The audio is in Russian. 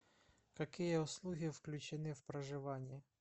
какие услуги включены в проживание